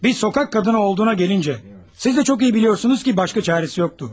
Bir sokaq qadını olduğuna gəlincə, siz də çox iyi biliyorsunuz ki başqa çarəsi yoxdu.